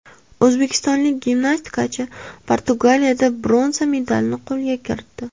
O‘zbekistonlik gimnastikachi Portugaliyada bronza medalni qo‘lga kiritdi.